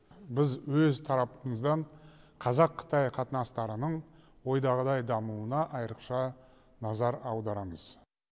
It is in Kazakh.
біз өз тарапымыздан қазақ қытай қатынастарының ойдағыдай дамуына айрықша назар аударамыз